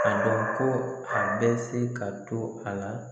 dɔn ko a bɛ se ka to a la.